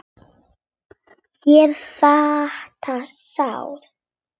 Sérðu þetta sár?